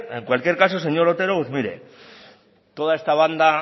en cualquier caso señor otero mire toda esta banda